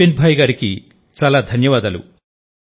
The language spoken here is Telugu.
విపిన్ భాయ్ గారికి చాలా ధన్యవాదాలు